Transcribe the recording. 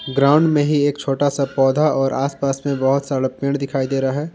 Ground में ही एक छोटा सा पौधा और आस पास में बहुत सारा पेड़ दिखाई दे रहा है।